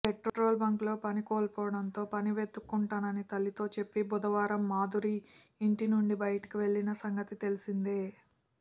petrol బంకులో పని కోల్పోవడంతో పని వెతుక్కుంటానని తల్లితో చెప్పి బుధవారం మాధురి ఇంటినుంచి బయటకెళ్లిన సంగతి తెలిసిందే